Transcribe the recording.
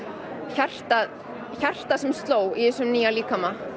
hjarta hjarta sem sló í þessum nýja líkama